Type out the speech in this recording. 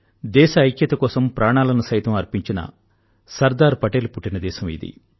దేశ ఐక్యత కోసం ప్రాణాలను సైతం అర్పించిన సర్దార్ పటేల్ పుట్టిన దేశం ఇది